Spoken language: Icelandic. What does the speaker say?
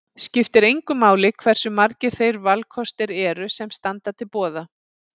Skiptir engu máli hversu margir þeir valkostir eru sem standa til boða.